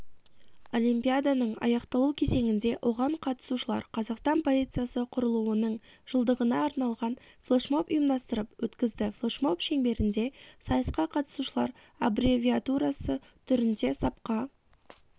олимпиаданың аяқталу кезеңінде оған қатысушылар қазақстан полициясы құрылуының жылдығына арналған флэшмоб ұйымдастырып өткізді флэшмоб шеңберінде сайысқа қатысушылар аббревиатурасы түрінде сапқа